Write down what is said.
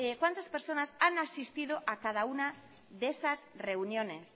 cuántas personas han asistido a cada una de esas reuniones